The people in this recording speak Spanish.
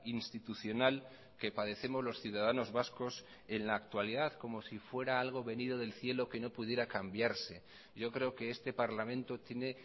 institucional que padecemos los ciudadanos vascos en la actualidad como si fuera algo venido del cielo que no pudiera cambiarse yo creo que este parlamento tiene